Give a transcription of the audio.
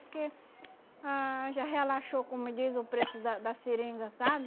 Porque ah já relaxou, como diz o preço da da seringa, sabe?